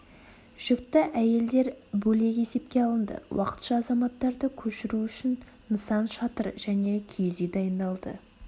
жүкті әйелдер бөлек есепке алынды уақытша азаматтарды көшіру үшін нысан шатыр және киіз үй дайындалды